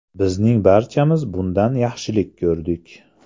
Bizning barchamiz bundan yaxshilik ko‘rdik.